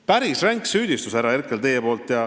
Päris ränk süüdistus, härra Herkel, teie poolt.